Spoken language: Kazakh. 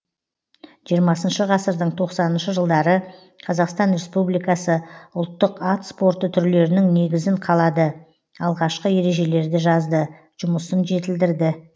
жиырмасыншы ғасырдың тоқсаныншы жылдары қазақстан республикасы ұлттық ат спорты түрлерінің негізін қалады алғашқы ережелерді жазды жұмысын жетілдірді